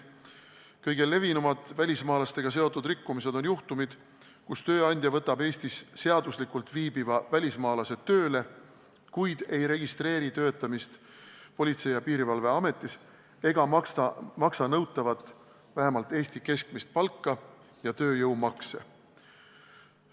Kõige levinumad välismaalastega seotud rikkumised on juhtumid, kus tööandja võtab Eestis seaduslikult viibiva välismaalase tööle, kuid ei registreeri tema töötamist Politsei- ja Piirivalveametis, ei maksa töötajale nõutavat, vähemalt Eesti keskmist palka ja ei tasu tööjõumakse.